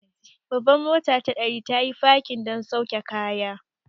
Babbar motar ta ɗari, tayi fakin don sauke kaya.